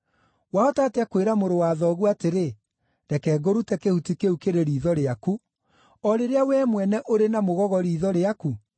Wahota atĩa kwĩra mũrũ wa thoguo atĩrĩ, ‘Reke ngũrute kĩhuti kĩu kĩrĩ riitho rĩaku,’ o rĩrĩa wee mwene ũrĩ na mũgogo riitho rĩaku?